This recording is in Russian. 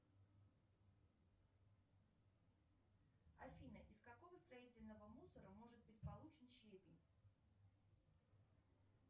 афина из какого строительного мусора может быть получен щебень